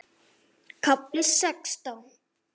KAFLI SEXTÁN